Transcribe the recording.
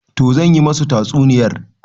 Toh zan yi musu tatsuniyar.